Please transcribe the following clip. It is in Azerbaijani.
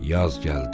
Yaz gəldi.